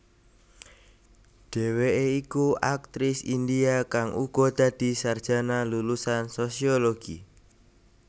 Dheweké iku aktris India kang uga dadi sarjana lulusan sosiologi